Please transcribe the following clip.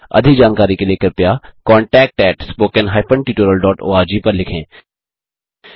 अधिक जानकारी के लिए कृपया contactspoken tutorialorg पर लिखें